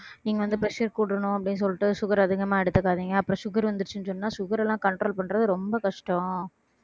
நீங்க வந்து pressure அ கூட்டணும் அப்படின்னு சொல்லிட்டு sugar அதிகமா எடுத்துக்காதீங்க அப்புறம் sugar வந்திருச்சுன்னு சொன்னா sugar எல்லாம் control பண்றது ரொம்ப கஷ்டம்